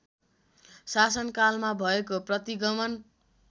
शासनकालमा भएको प्रतिगमन